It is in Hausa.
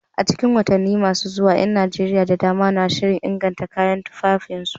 A cikin watanni masu zuwa, ƴan Najeriya da dama na shirin inganta kayan tufafinsu.